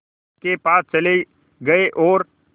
के पास चले गए और